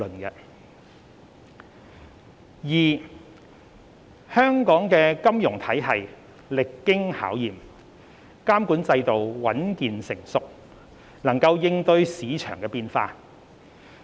二香港的金融體系歷經考驗，監管制度穩健成熟，能應對市場變化。